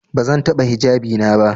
Bazan bata hijabi na ba.